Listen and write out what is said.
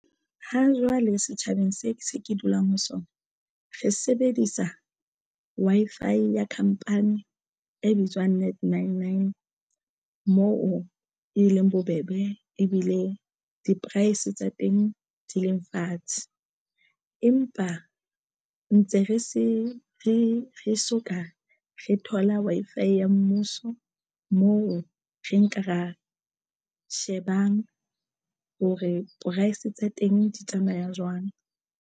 Hajwale setjhabeng se se ke dulang ho sona re sebedisa Wi-Fi ya khampani e bitswang Net Nine Nine moo e leng bobebe ebile di-price tsa teng di leng fatshe. Empa ntse re se re re soka re thola Wi-Fi ya Mmuso moo re nka ra shebang hore price tsa teng di tsamaya jwang.